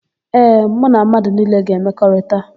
Ee, mụ na mmadụ niile ga-emekọrịta.